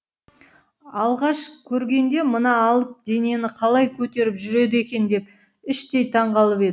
алғаш көргенде мына алып денені қалай көтеріп жүреді екен деп іштей таңғалып